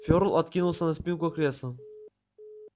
фёрл откинулся на спинку кресла